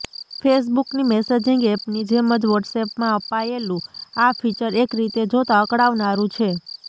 ફેસબુકની messaging એપની જેમ જ વોટ્સએપમાં અપાયેલું આ ફીચર એક રીતે જોતા અકળાવનારું છે